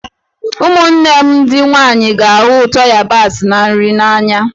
Ụmụnne m ndị nwanyị ga-ahụ ụtọ yabasị na nri n'anya.